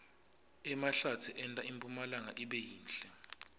emahlatsi enta impumlanga ibe yinhle